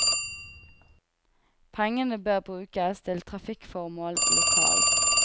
Pengene bør brukes til trafikkformål lokalt.